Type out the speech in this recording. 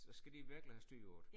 Så skal de virkelig have styr på det